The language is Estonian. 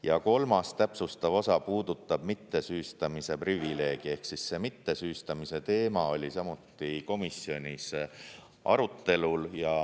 Ja kolmas täpsustustav osa puudutab mittesüüstamise privileegi ehk see mittesüüstamise teema oli samuti komisjonis arutelul.